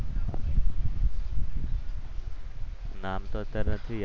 નામ તો અત્યારે નથી યાદ.